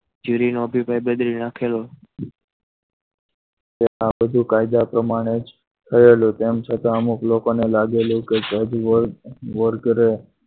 જેવી નો અભિપ્રાય બદલી નાખેલો તે આ બધું કાયદા પ્રમાણે જ થયેલું તેમ છતાં અમુક લોકોને લાગેલું કે જજવર કરે.